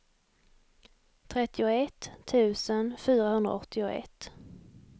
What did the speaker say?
trettioett tusen fyrahundraåttioett